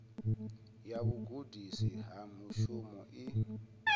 ya vhugudisi ha mushumo i